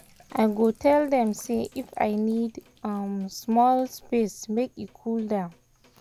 i go tell dem say if i need small space or make e cool down.